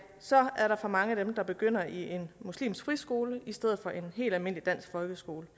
så er der for mange af dem der begynder i en muslimsk friskole i stedet for en helt almindelig dansk folkeskole